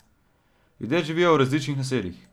Ljudje živijo v različnih naseljih.